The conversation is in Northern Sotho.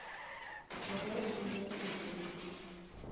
ge e be e šetše